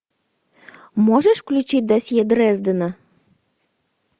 можешь включить досье дрездена